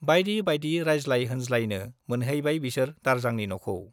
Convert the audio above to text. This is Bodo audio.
बाइदि बाइदि रायज्लाय होनज्लायनो मोनहैबाय बिसोर दारजांनि न'खौ।